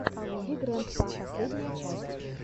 вигрэндпа последняя часть